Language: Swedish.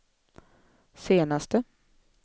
senaste